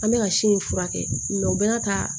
An bɛ ka si in furakɛ u bɛɛ ka